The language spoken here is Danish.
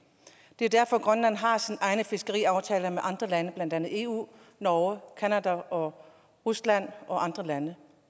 det er jo derfor at grønland har sine egne fiskeriaftaler med andre lande blandt andet eu norge canada og rusland og andre lande